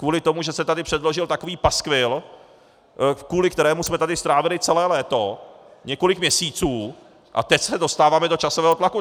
Kvůli tomu, že se tady předložil takový paskvil, kvůli kterému jsme tady strávili celé léto, několik měsíců, a teď se dostáváme do časového tlaku.